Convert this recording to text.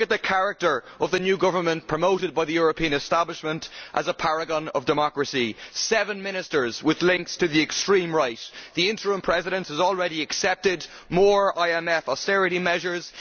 Look at the character of the new government promoted by the European establishment as a paragon of democracy. There are seven ministers with links to the extreme right, and the interim President has already accepted more IMF austerity measures.